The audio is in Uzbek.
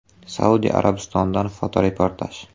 Saudiya Arabistonidan fotoreportaj.